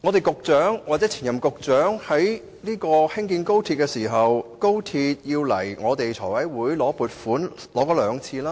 局長或前任局長在興建廣深港高鐵期間，已兩度向財務委員會申請撥款。